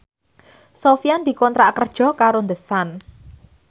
Sofyan dikontrak kerja karo The Sun